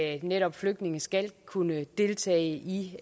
at netop flygtninge skal kunne deltage i